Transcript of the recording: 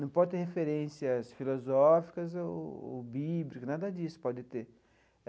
Não pode ter referências filosóficas ou bíblicas, nada disso pode ter.